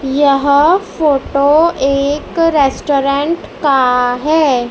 यह फोटो एक रेस्टोरेंट का है।